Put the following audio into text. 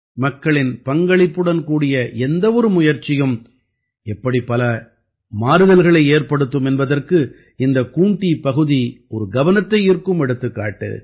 மக்களின் பங்களிப்புடன் கூடிய எந்த ஒரு முயற்சியும் எப்படி பல மாறுதல்களை ஏற்படுத்தும் என்பதற்கு இந்தக் கூண்ட்டி பகுதி ஒரு கவனத்தை ஈர்க்கும் எடுத்துக்காட்டு